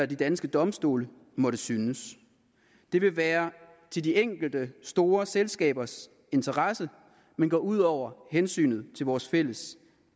de danske domstole måtte synes det vil være i de enkelte store selskabers interesse men gå ud over hensynet til vores fælles